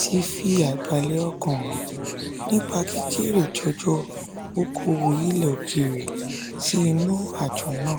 tí fi àìbálẹ̀ ọkàn hàn nípa kíkéré-jọjọ okowo ilẹ̀-òkèèrè sì inú àjọ nà.